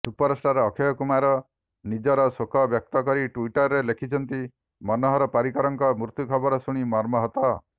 superstar Akshay Kumar ନିଜର ଶୋକ ବ୍ୟକ୍ତି କରି ଟ୍ବିଟରରେ ଲେଖିଛନ୍ତି ମନୋହର ପାରିକର୍ଙ୍କ ମୃତ୍ୟୁ ଖବର ଶୁଣି ମର୍ମାହତ